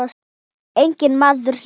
Einn maður lést.